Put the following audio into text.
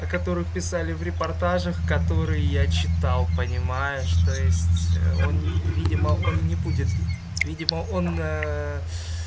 на которых писали в репортажах которые я читал понимаешь что есть он видимо он не будет видимо он